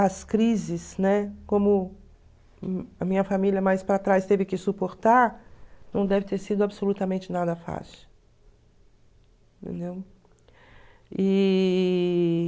as crises, né, como a minha família mais para trás teve que suportar, não deve ter sido absolutamente nada fácil. Entendeu? E...